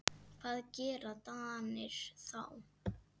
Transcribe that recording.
Hvað gera Danir þá?